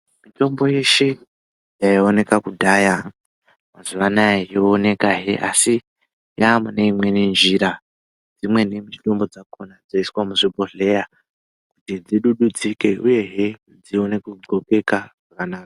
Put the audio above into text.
Mitombo yeshe yaioneka kudhaya mazuva anaya yooneka hee asi yamune imweni nzira dzimweni mitombo dzakona dzoiswa muzvibhedhlera kuti dzidududzike uyehe dzione kudlobeka zvakanaka .